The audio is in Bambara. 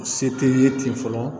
Se tɛ n ye ten fɔlɔ